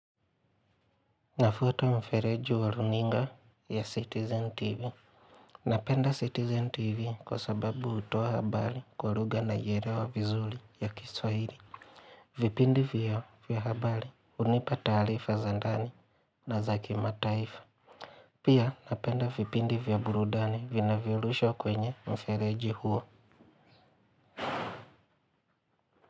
Nafwata mfereji wa runinga ya Citizen TV. Napenda Citizen TV kwa sababu hutoa habari kwa lugha naielewa vizuri ya kiswahili. Vipindi vya habari hunipa taarifa za ndani na za kimataifa. Pia napenda vipindi vya burudani vinavyo rushwa kwenye mfereji huo.